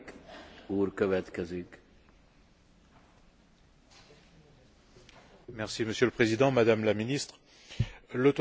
Monsieur le Président, Madame la Ministre, l'Autorité palestinienne et Mahmoud Abbas utilisent les outils du droit international et de la diplomatie.